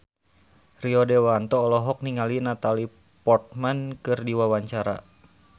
Rio Dewanto olohok ningali Natalie Portman keur diwawancara